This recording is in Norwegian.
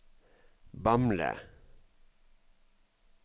Bamble